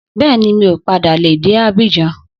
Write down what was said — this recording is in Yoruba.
Bẹ́ẹ̀ni, mi ò padà le dé Abidjan